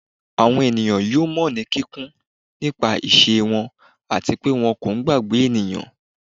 Awọn eniyan yoo mọ ni kikun ti awọn iṣe wọn ati pe wọn ko gbagbe eniyan